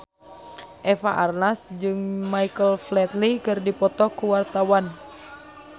Eva Arnaz jeung Michael Flatley keur dipoto ku wartawan